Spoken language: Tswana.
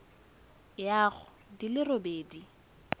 ya go di le robedi